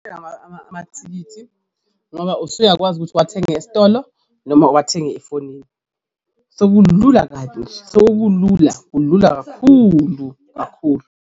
Amathikithi ngoba usuyakwazi ukuthi uwathenge esitolo noma uwathenge efonini, sekulula kabi sekulula kulula kakhulu kakhulu.